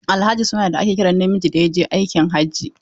Alhaji suna ne da ake kiran namijin da ya je aikin hajji.